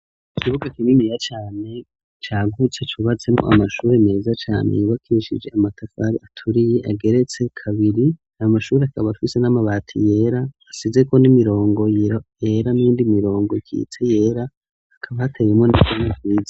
ikibuga kininiya cane cagutse cubatsemwo amashure meza cane yubakishije amatafari aturiye ageretse kabiri, ayo mashuri akaba afise n'amabati yera asizeko n'imirongo yera n'iyindi mirongo ikitse yera akaba ateyemwo igazo ryiza.